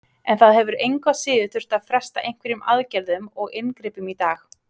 En það hefur engu að síður þurft að fresta einhverjum aðgerðum og inngripum í dag?